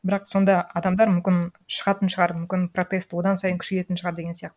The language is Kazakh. бірақ сонда адамдар мүмкін шығатын шығар мүмкін протест одан сайын күшейетін шығар деген сияқты